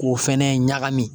K'o fɛnɛ ɲagami.